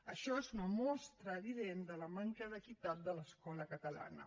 això és una mostra evident de la manca d’equitat de l’escola catalana